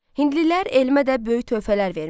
Hindlilər elmə də böyük töhfələr vermişdilər.